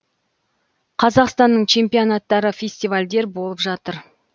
қазақстанның чемпионттары фестивальдер болып жатыр